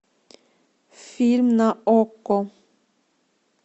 фильм на окко